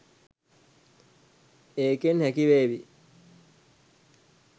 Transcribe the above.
ඒකෙන් හැකිවේවි